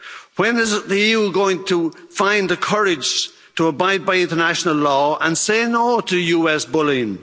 When is the EU going to find the courage to abide by international law and say no' to US bullying?